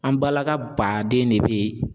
An balaka baden de bɛ.